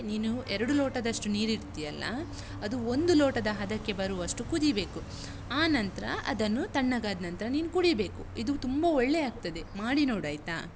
ನೀನು ಎರಡು ಲೋಟದಷ್ಟು ನೀರಿಡ್ತಿಯಲ್ಲ, ಅದು ಒಂದು ಲೋಟದ ಹದಕ್ಕೆ ಬರುವಷ್ಟು ಕುದೀಬೇಕು. ಆನಂತ್ರ ಅದನ್ನು, ತಣ್ಣಗಾದ್ನಂತ್ರ ನೀನು ಕುಡೀಬೇಕು. ಇದು ತುಂಬ ಒಳ್ಳೇ ಆಗ್ತದೆ. ಮಾಡಿ ನೋಡಾಯ್ತಾ?